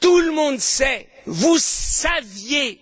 Tout le monde sait, vous saviez